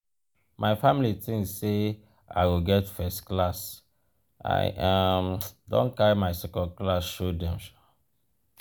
my family tink sey i go get first-class i um don carry my second-class show dem. um